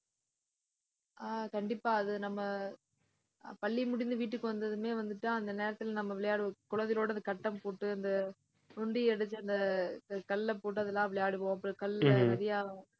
ஆஹ் கண்டிப்பா அது நம்ம அஹ் பள்ளி முடிந்து வீட்டுக்கு வந்ததுமே வந்துட்டு அந்த நேரத்துல நம்ம விளையாட குழந்தைகளோட அந்த கட்டம் போட்டு அந்த நொண்டி அடிச்சி அந்த கல்லை போட்டு அதெல்லாம் விளையாடுவோம் அப்புறம் கல்லு நிறைய